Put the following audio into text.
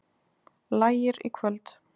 Lægir í kvöld